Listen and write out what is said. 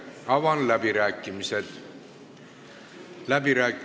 Avan läbirääkimised.